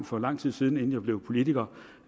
for lang tid siden inden jeg blev politiker